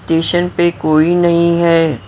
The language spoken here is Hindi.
स्टेशन पे कोई नहीं है।